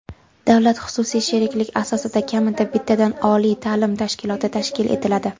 davlat-xususiy sheriklik asosida kamida bittadan oliy taʼlim tashkiloti tashkil etiladi.